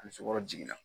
Ani sukɔrɔ jiginna